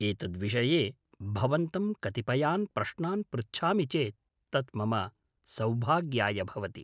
एतद्विषये भवन्तं कतिपयान् प्रश्नान् पृच्छामि चेत् तत् मम सौभाग्याय भवति।